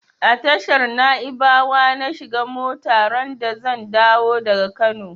A tashar naibawa na shiga mota randa zan dawo daga Kano.